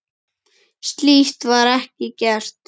Slíkt var ekki gert.